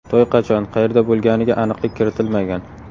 To‘y qachon, qayerda bo‘lganiga aniqlik kiritilmagan.